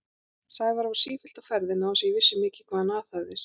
Sævar var sífellt á ferðinni án þess að ég vissi mikið hvað hann aðhafðist.